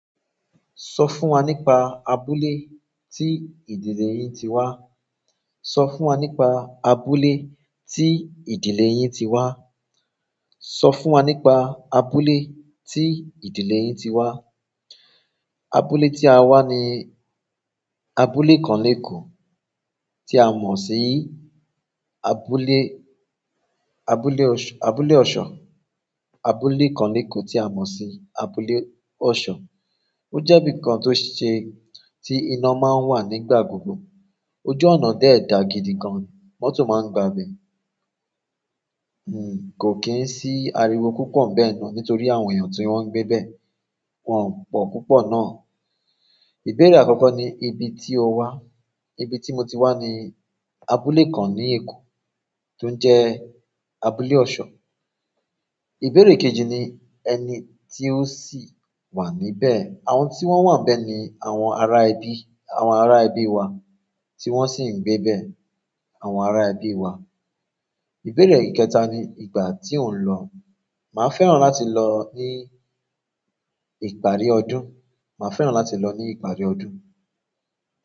Sọ fún wa nípa abúlé tí ìdílé yín ti wá. Sọ fún wa nípa abúlé tí ìdílé yín ti wá. Sọ fún wa nípa abúlé tí ìdílé yín ti wá. Abúlé tí a wá ni abúlé kan ní Èkó tí a mọ̀ sí abúlé, abúlé ọ̀ṣ-- abúlé ọ̀ṣọ́. Abúlé kan ní Èkó tí a mọ̀ sí abúlé ọ̀ṣọ̀. Ó jẹ́ ibìkan tó ṣe-- tí iná máa ń wà nígbà gbogbo. Ojú ọ̀nà dẹ̀ dáa gidi gan. Mọ́tò máa ń gba ibẹ̀. Hmm, kò kín sí ariwo púpọ̀ níbẹ̀ náà nítorí àwọn èèyàn tí wọ́n ń gbé bẹ̀, wọ́n pọ̀ púpọ̀ náà. Ìbéèrè àkọ́kọ́ ni ibi tí o wá. Ibi tí mo ti wá ni abúlé kan ní Èkó tó jẹ́ abúlé ọ̀ṣọ̀. Ìbéèrè kejì ni ẹni tí ó sì wà níbẹ̀. Àwọn tí wọ́n wà níbẹ̀ ni àwọn ará ibi, àwọn ará ẹbí wa tí wọ́n sì ń gbé bẹ̀, àwọn ará ẹbí wa. Ìbéèrè ìkẹta ni ìgbà tí o ń lọ. Máa fẹ́ràn láti lọ ní ìparí ọdún. Màá fẹ́ràn láti lọ ní ìparí ọdún.